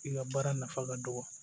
I ka baara nafa ka dɔgɔ